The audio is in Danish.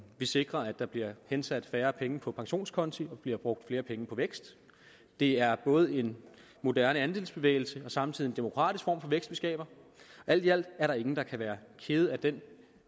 vi sikrer at der bliver hensat færre penge på pensionskonti og bliver brugt flere penge på vækst det er både en moderne andelsbevægelse og samtidig en demokratisk form for vækst vi skaber alt i alt er der ingen der kan være kede af den